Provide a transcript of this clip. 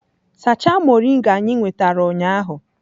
Sachaa moringa anyị nwetara ụnyaahụ!